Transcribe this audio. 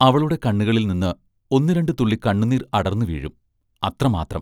അവളുടെ കണ്ണുകളിൽ നിന്ന് ഒന്നു രണ്ടു തുള്ളി കണ്ണുനീർ അടർന്നു വീഴും; അത്രമാത്രം.